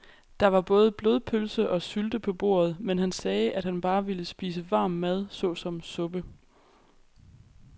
Der var både blodpølse og sylte på bordet, men han sagde, at han bare ville spise varm mad såsom suppe.